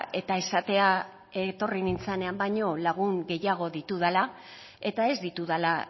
eta esatea etorri nintzanean baino lagun gehiago ditudala eta ez ditudala